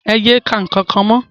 É ye ka nkankan mọ!